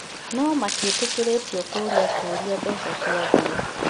No matiĩtĩkĩrĩtio kũũria kũrĩa mbeca ciathiĩ